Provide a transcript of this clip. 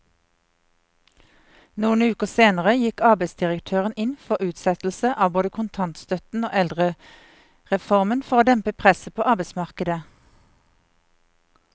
Noen uker senere gikk arbeidsdirektøren inn for utsettelse av både kontantstøtten og eldrereformen for å dempe presset på arbeidsmarkedet.